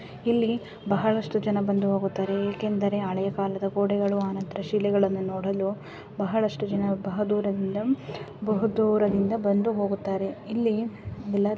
ಇಲ್ಲಿ ಬಹಳಷ್ಟು ಜನ ಬಂದು ಹೋಗುತ್ತಾರೆ ಏಕೆಂದರೆ ಹಳೆ ಕಾಲದ ಗೋಡೆಗಳು ಆನಂತರ ಶಿಲೆಗಳನ್ನ ನೋಡಲು ಬಹಳಷ್ಟು ಜನ ಬಹದೂರದಿಂದಮ್ ಬಹುದೂರದಿಂದ ಬಂದು ಹೋಗುತ್ತಾರೆ. ಇಲ್ಲಿ ಯಲ್ಲರು --